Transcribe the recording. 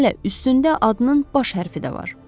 Hələ üstündə adının baş hərfi də var.